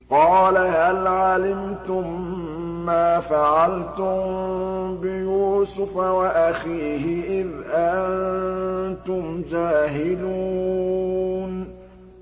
قَالَ هَلْ عَلِمْتُم مَّا فَعَلْتُم بِيُوسُفَ وَأَخِيهِ إِذْ أَنتُمْ جَاهِلُونَ